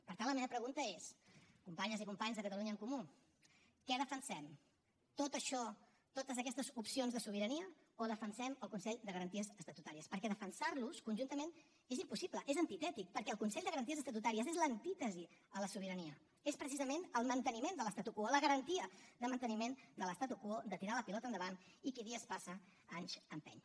per tant la meva pregunta és companyes i companys de catalunya en comú què defensem tot això totes aquestes opcions de sobirania o defensem el consell de garanties estatutàries perquè defensar los conjuntament és impossible és antitètic perquè el consell de garanties estatutàries és l’antítesi de la sobirania és precisament el manteniment de l’endavant i qui dies passa anys empeny